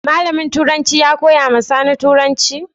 Malamin turancin ya koya wa Sani turancin?